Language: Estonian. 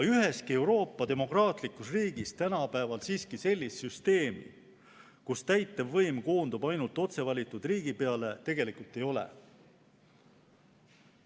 Üheski Euroopa demokraatlikus riigis tänapäeval siiski sellist süsteemi, kus täitevvõim koondub ainult otse valitud riigipeale, tegelikult ei ole.